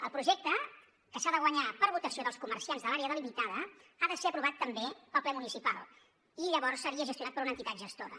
el projecte que s’ha de guanyar per votació dels comerciants de l’àrea delimitada ha de ser aprovat també pel ple municipal i llavors seria gestionat per una entitat gestora